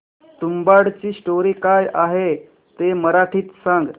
तुंबाडची स्टोरी काय आहे ते मराठीत सांग